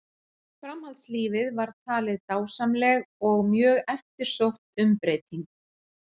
Framhaldslífið var talin dásamleg og mjög eftirsótt umbreyting.